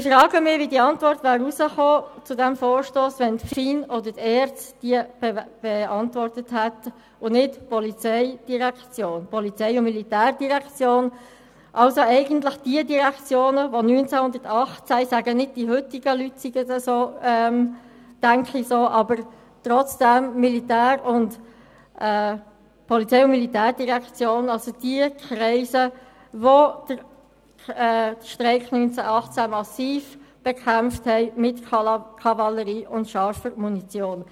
Ich frage mich, wie die Antwort zu diesem Vorstoss herausgekommen wäre, wenn die FIN oder die ERZ und nicht die POM den Vorstoss beantwortet hätten, also eigentlich die Direktionen, die den Streik 1918 massiv bekämpft hatten, mit Kavallerie und scharfer Munition.